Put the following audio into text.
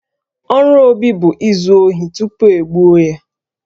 Ọrụ Obi bụ izu ohi tupu e gbuo ya